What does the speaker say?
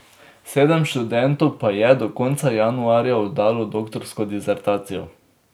Sedem študentov pa je do konca januarja oddalo doktorsko disertacijo.